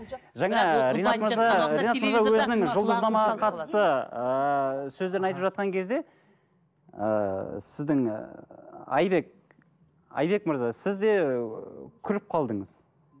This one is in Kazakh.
жаңа ы ринат мырза ринат мырза өзінің жұлдызнамаға қатысты ыыы сөздерін айтып жатқан кезде ыыы сіздің ы айбек айбек мырза сіз де күліп қалдыңыз